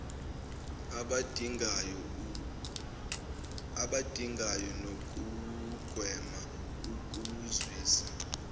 abadingayo nokugwema ukuzwisa